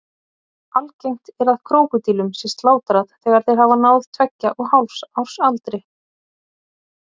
Algengt er að krókódílum sé slátrað þegar þeir hafa náð tveggja og hálfs árs aldri.